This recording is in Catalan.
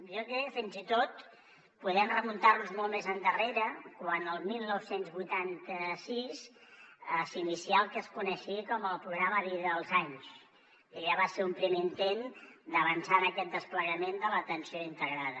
jo crec que fins i tot podem remuntar nos molt més endarrere quan el dinou vuitanta sis s’inicià el que es coneixia com el programa vida als anys que ja va ser un primer intent d’avançar en aquest desplegament de l’atenció integrada